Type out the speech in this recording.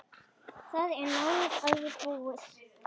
Það er nánast alveg búið.